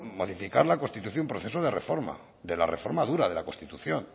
modificar la constitución proceso de reforma de la reforma dura de la constitución